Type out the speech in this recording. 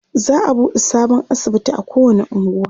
za'a buɗe sabon asibiti a kowani unguwa